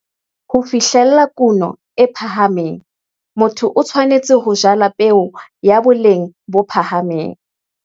Ho fihlella kuno e phahameng, motho o tshwanetse ho jala peo ya boleng bo phahameng.